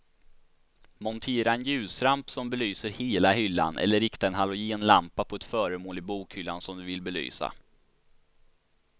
Montera en ljusramp som belyser hela hyllan eller rikta en halogenlampa på ett föremål i bokhyllan som du vill belysa.